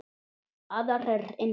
Aðrir innan